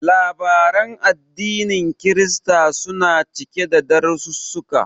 Labaran addinin Kirista suna cike da darasissuka.